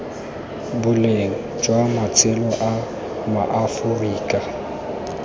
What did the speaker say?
boleng jwa matshelo a maaforika